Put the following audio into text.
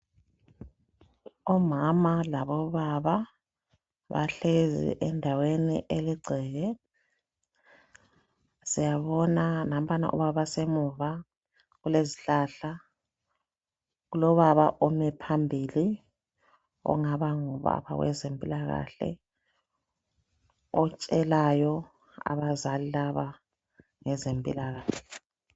Omama labobaba bahlezi endaweni eligceke. Siyabona nampana obana basemuva kulezihlahla kulobaba omileyo phambili ongaba ngowezempilakahle otshelayo abazali laba ngezempilakahle.